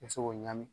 I bɛ se k'o ɲagami